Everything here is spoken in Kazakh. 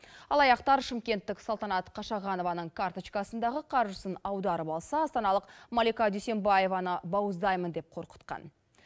алаяқтар шымкенттік салтанат қашағанованың карточкасындағы қаржысын аударып алса астаналық малика дүйсенбаеваны бауыздаймын деп қорқытқан